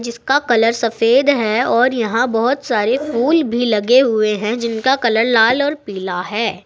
इसका कलर सफेद है और यहां बहोत सारे फूल भी लगे हुए है जिनका कलर लाल और पीला है।